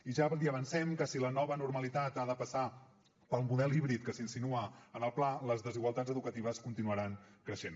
i ja li avancem que si la nova normalitat ha de passar pel model híbrid que s’insinua en el pla les desigualtats educatives continuaran creixent